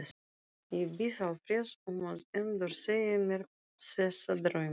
Ég bið Alfreð um að endursegja mér þessa drauma.